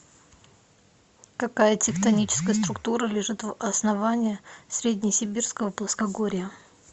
какая тектоническая структура лежит в основании среднесибирского плоскогорья